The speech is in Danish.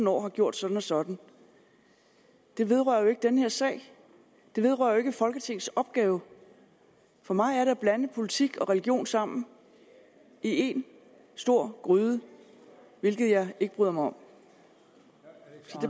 år har gjort sådan og sådan det vedrører jo ikke den her sag det vedrører jo ikke folketingets opgave for mig er det at blande politik og religion sammen i en stor gryde hvilket jeg ikke bryder mig om så